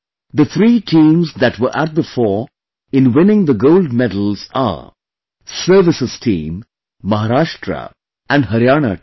The three teams that were at the fore in winning the Gold Medal are Services team, Maharashtra and Haryana team